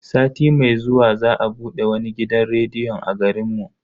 Sati mai zuwa za a bude wani gidan rediyon a garin mu.